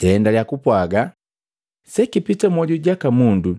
Jaendalya kupwaaga, “Sekipita mmoju jaka mundu,